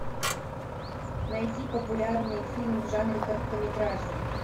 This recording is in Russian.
найти популярные фильмы в жанре короткометражный